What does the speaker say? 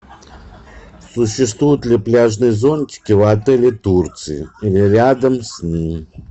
существуют ли пляжные зонтики в отеле турции или рядом с ним